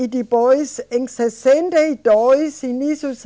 E depois, em sessenta e dois, início de